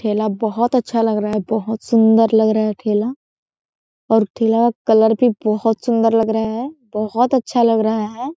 ठेला बोहत अच्छा लग रहा है बोहत सुन्दर लग रहा है ठेला और ठेला कलर भी बोहत सुन्दर लग रहा है बोहत अच्छा लग रहा हैं ।